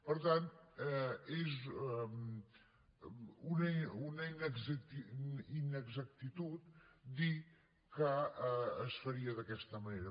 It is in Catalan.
per tant és una inexactitud dir que es faria d’aquesta manera